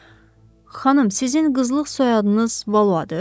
Xanım, sizin qızlıq soyadınız Valoadır?